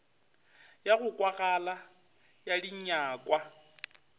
ya go kwagala ya dinyakwa